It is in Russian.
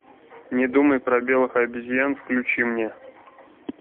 не думай про белых обезьян включи мне